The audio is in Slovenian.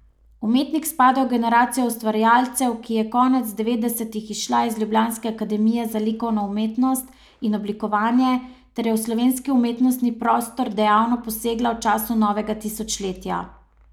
Umetnik spada v generacijo ustvarjalcev, ki je konec devetdesetih izšla iz ljubljanske akademije za likovno umetnost in oblikovanje ter je v slovenski umetnostni prostor dejavno posegla v začetku novega tisočletja.